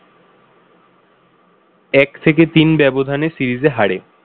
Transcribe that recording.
এক থেকে তিন ব্যবধানে series এ হারে